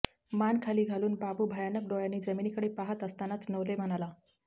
मान खाली घालून बाबू भयानक डोळ्यांनी जमिनीकडे पाहात असतानाच नवले म्हणाला